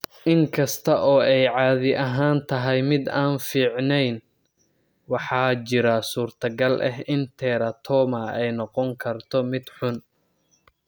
Inkasta oo ay caadi ahaan tahay mid aan fiicneyn, waxaa jira suurtagal ah in teratoma ay noqon karto mid xun.